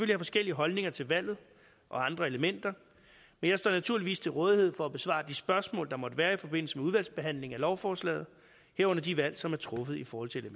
have forskellige holdninger til valget og andre elementer men jeg står naturligvis til rådighed for at besvare de spørgsmål der måtte være i forbindelse med udvalgsbehandlingen af lovforslaget herunder de valg som er truffet i forhold til